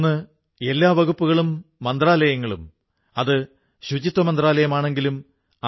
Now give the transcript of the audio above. അദ്ദേഹം രാജ്യങ്ങളെയും രാജവംശങ്ങളെയും രാഷ്ട്രത്തോടു ചേർക്കുന്ന കാര്യംചെയ്തു